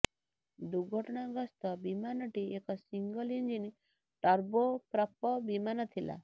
ଦୁର୍ଘଟଣାଗ୍ରସ୍ତ ବିମାନଟି ଏକ ସିଙ୍ଗଲ ଇଞ୍ଜିନ ଟର୍ବୋ ପ୍ରପ ବିମାନଥିଲା